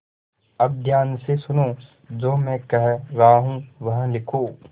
अब ध्यान से सुनो जो मैं कह रहा हूँ वह लिखो